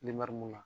mun na